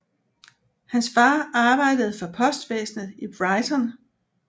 Hans far arbejdede for postvæsnet i Brighton